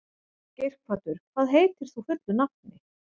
Geirhvatur, hvað heitir þú fullu nafni?